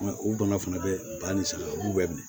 Mɛ u bana fana bɛ ba ni san u b'u bɛ minɛ